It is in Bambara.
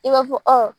I b'a fɔ